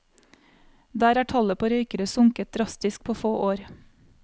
Der er tallet på røykere sunket drastisk på få år.